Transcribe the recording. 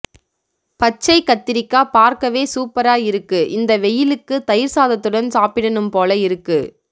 பச்சை கத்திரிககா பார்க்க வே சூப்பர இருக்கு இந்த வெயில்லுக்க்கு தயிர்சாதத்துடன் சாப்பிடனும் போல இருக்கு